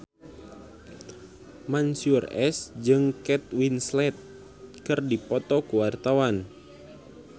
Mansyur S jeung Kate Winslet keur dipoto ku wartawan